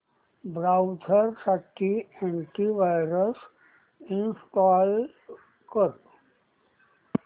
browser साठी anti virus install कर